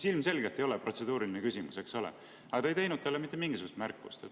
See ilmselgelt ei olnud protseduuriline küsimus, eks ole, aga te ei teinud talle mitte mingisugust märkust.